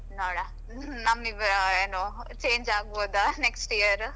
ನೋಡ್ವ ನಮ್ಮಿಬ್ರ ಏನು change ಆಗಬಹುದಾ next year .